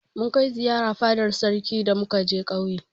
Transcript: Mun kai ziyara fadar sarki da muka je ƙauye.